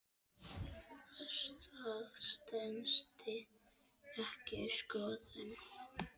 Það stenst ekki skoðun.